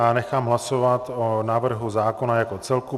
A nechám hlasovat o návrhu zákona jako celku.